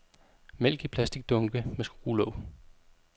Mælk i plasticdunke med skruelåg.